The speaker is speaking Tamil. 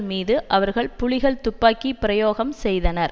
மீது அவர்கள் புலிகள் துப்பாக்கி பிரயோகம் செய்தனர்